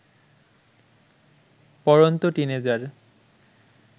পড়ন্ত টিন এজার